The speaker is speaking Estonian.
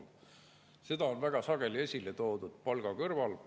Seda on palga kõrval väga sageli esile toodud.